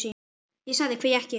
Ég sagði: Hví ekki?